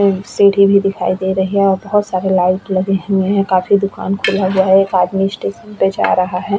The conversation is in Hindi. सीढ़ी भी दिखाई दे रही है और बहुत सारे लाइट लगे हुए हैं काफी दुकान खुला हुआ है एक आदमी स्टेशन पे जा रहा है।